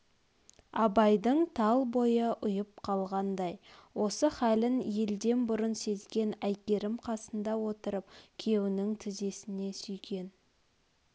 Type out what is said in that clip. абайдың тал бойы ұйып қалғандай осы халін елден бұрын сезген әйгерім қасында отырып күйеунің тізесне сүйеген